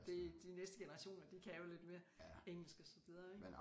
Det de næste generationer de kan lidt mere engelsk og så videre ik